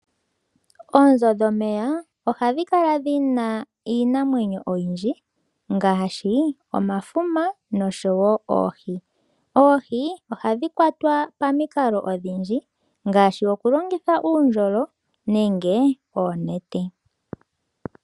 Onzo dhomeya ohadhi kala dhina iinamwenyo oyindji ngashi omafuma noshowo oohi. Oohi ohadhi kwatwa pamikalo odhindji ngashi oku longitha uundjolo nenge oonete.